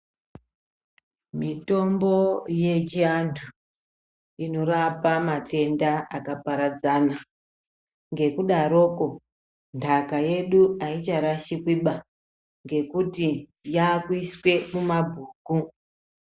Mitombo yechiantu inorapa matenda akaparadzana ngekudaroko ntaka yedu haicharashikiba ngekuti yakuiswa mumabhuku.